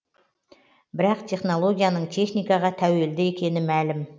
бірақ технологияның техникаға тәуелді екені мәлім